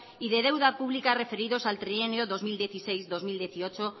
y de deuda pública referidos al trienio dos mil dieciséis dos mil dieciocho